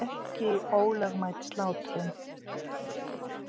Ekki ólögmæt slátrun